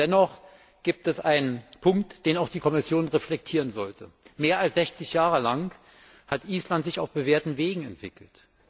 Dennoch gibt es einen Punkt, den auch die Kommission reflektieren sollte Mehr als 60 Jahre lang hat Island sich auf bewährten Wegen entwickelt.